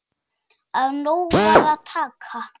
Af nógu var að taka.